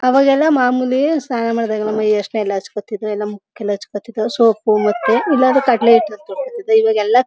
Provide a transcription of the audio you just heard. ಅವಗಲ್ಲೇ ಮಾಮೂಲಿ ಸ್ನಾನ ಮಾಡಿದಾಗ ಮೈ ಹರ್ಶನ ಎಲ್ಲಾ ಹಚ್ಚ್ಕೊಳ್ತಾ ಇದ್ವಿ ಎಲ್ಲಾ ಮುಖಕ್ಕೆಲ್ಲಾ ಹಚ್ಕೋತಾ ಇದ್ದ್ವಿ ಸೋಪ್ ಮತ್ತೆ ಇಲ್ಲಾಂದ್ರೆ ಕಡ್ಲೆ ಹಿಟ್ಟು ಹಚ್ಕತಿದ್ವಿ ಈವಾಗ ಎಲ್ಲಾ--